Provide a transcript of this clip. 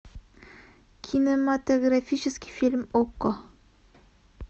кинематографический фильм окко